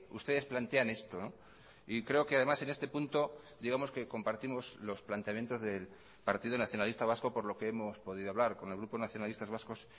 ustedes plantean esto y creo que además en este punto digamos que compartimos los planteamientos del partido nacionalista vasco por lo que hemos podido hablar con el grupo nacionalistas vascos